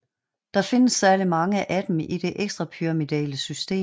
Der findes særlig mange af dem i det ekstrapyramidale system